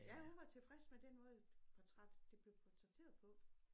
Ja hun var tilfreds med den måde portræt det blev portrætteret på